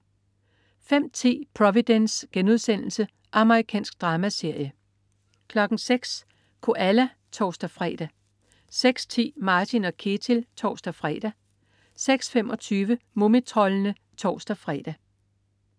05.10 Providence.* Amerikansk dramaserie 06.00 Koala (tors-fre) 06.10 Martin & Ketil (tors-fre) 06.25 Mumitroldene (tors-fre)